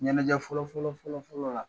Ɲɛnajɛ fɔlɔ fɔlɔ fɔlɔ fɔlɔ la